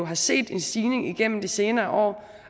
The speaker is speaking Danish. har set en stigning igennem de senere år